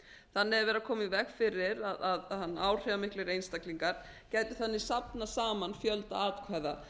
þannig er verið að koma í veg fyrir að áhrifamiklir einstaklingar geti þannig safnað saman fjölda atkvæða